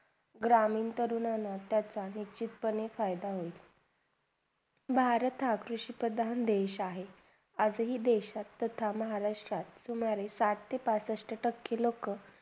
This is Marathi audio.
ग्रहमीन तरुण पणे त्याचा निष्चित पणे फायदा होईल. भारत हा कृषी प्रधान देश आहे. असे ही देशात तथा महाराष्ट्रात साठ ते पासष्ट तर लोका